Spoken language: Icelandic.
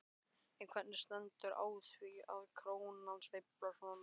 En hvernig stendur á því að krónan sveiflast svona?